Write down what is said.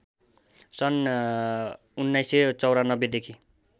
सन् १९९४ देखि